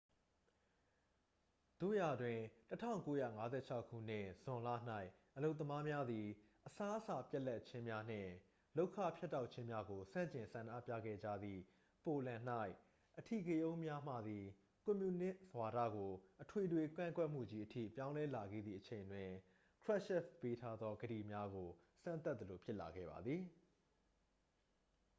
သို့ရာတွင် 1956 ခုနှစ် ဇွန်လ၌ အလုပ်သမားများသည် အစားအစာပြတ်လပ်ခြင်းများနှင့် လုပ်ခဖြတ်တောက်ခြင်းများကိုဆန့်ကျင်ဆန္ဒပြခဲ့ကြသည့် ပိုလန်၌ အဓိကရုဏ်းများမှသည် ကွန်မြူနစ်ဝါဒကို အထွေထွေကန့်ကွက်မှုကြီး အထိပြောင်းလဲလာခဲ့သည့်အချိန်တွင် krushchev ပေးထားသောကတိများကို စမ်းသပ်သလိုဖြစ်လာခဲ့ပါသည်